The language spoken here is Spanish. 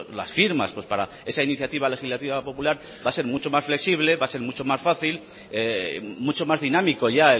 las firmas para esa iniciativa legislativa popular va a ser mucho más flexible va a ser mucho más fácil mucho más dinámico ya